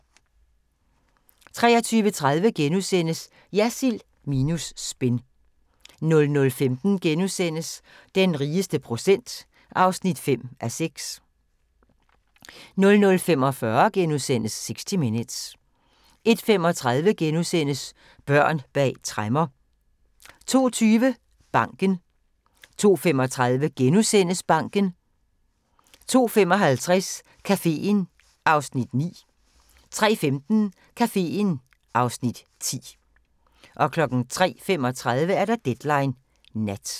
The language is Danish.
23:30: Jersild minus spin * 00:15: Den rigeste procent (5:6)* 00:45: 60 Minutes * 01:35: Børn bag tremmer * 02:20: Banken 02:35: Banken * 02:55: Caféen (Afs. 9) 03:15: Caféen (Afs. 10) 03:35: Deadline Nat